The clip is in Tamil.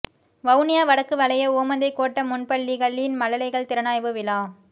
வவுனியா வடக்கு வலய ஓமந்தை கோட்ட முன்பள்ளிகளின் மழலைகள் திறனாய்வு விழா